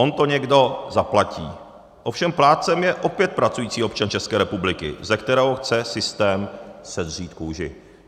On to někdo zaplatí, ovšem plátcem je opět pracující občan České republiky, ze kterého chce systém sedřít kůži.